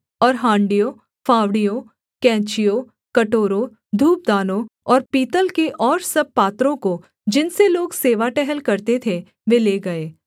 और हाँड़ियों फावड़ियों कैंचियों कटोरों धूपदानों और पीतल के और सब पात्रों को जिनसे लोग सेवा टहल करते थे वे ले गए